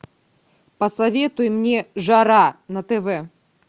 посоветуй мне жара на тв